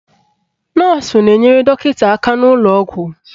Nọọsụ na-enyere dọkịta aka n'ụlọ ọgwụ